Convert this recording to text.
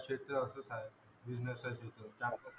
business